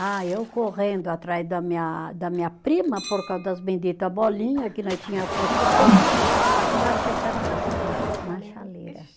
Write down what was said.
Ah, eu correndo atrás da minha, da minha prima, por causa das bendita bolinha que nós tinha posto secar, e bati a cabeça na na chaleira.